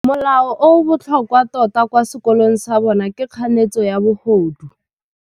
Molao o o botlhokwa tota kwa sekolong sa bone ke kganetsô ya bogodu.